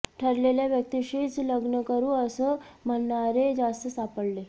ठरलेल्या व्यक्तीशीच लग्न करू असं म्हणणारे जास्त सापडले